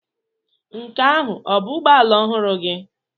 Nke ahụ ọ bụ ụgbọ ala ọhụrụ gị?